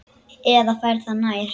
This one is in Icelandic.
Eða færir það nær.